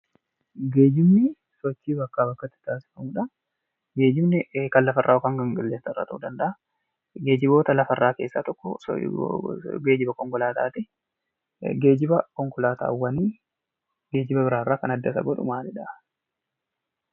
Geejjibni sochii bakkaa bakkatti taasifamuu dha. Geejjibni kan lafarraa yookaan kan qilleensarraa ta'uu danda'a. Geejjiboota lafarraa keessaa tokko geejjiba konkolaataati. Geejjiba konkolaataawwanii geejjiba biraa irraa kan adda isa godhu maalidha?